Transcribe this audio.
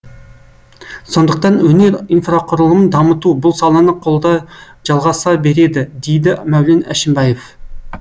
сондықтан өнер инфрақұрылымын дамыту бұл саланы қолдау жалғаса береді дейді мәулен әшімбаев